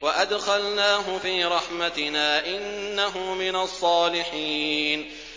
وَأَدْخَلْنَاهُ فِي رَحْمَتِنَا ۖ إِنَّهُ مِنَ الصَّالِحِينَ